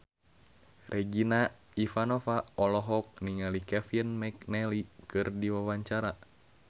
Regina Ivanova olohok ningali Kevin McNally keur diwawancara